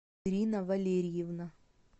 ирина валерьевна